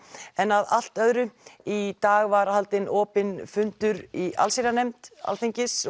en að allt öðru í dag var haldinn opinn fundur í allsherjarnefnd Alþingis